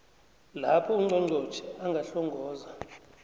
lapho ungqongqotjhe angahlongoza